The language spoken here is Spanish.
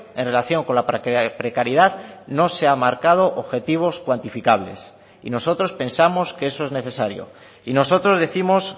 en relación con la precariedad no se ha marcado objetivos cuantificables y nosotros pensamos que eso es necesario y nosotros décimos